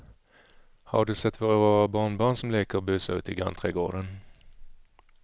Har du sett våra rara barnbarn som leker och busar ute i grannträdgården!